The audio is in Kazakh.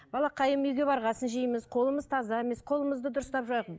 балақайым үйге барған соң жейміз қолымыз таза емес қолымызды дұрыстап жуайық